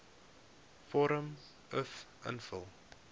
vorm uf invul